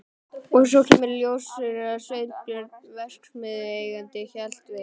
Og svo kemur í ljós að Sveinbjörn verksmiðjueigandi hélt við